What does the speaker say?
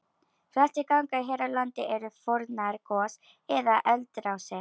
Flestir gangar hér á landi eru fornar gos- eða eldrásir.